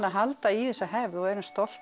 halda í þessa hefð og erum stolt